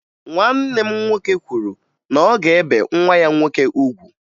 Nwanne m nwoke kwuru na ọ ga-ebe nwa ya nwoke ugwu